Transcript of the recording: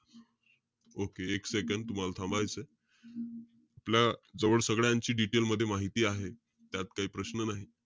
Okay एक second. तुम्हाला थांबायचंय. जवळ सगळ्यांची detail मध्ये माहिती आहे. त्यात काही प्रश्न नाही.